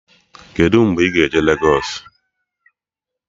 Kedụ mgbe ị ga-eje Legos?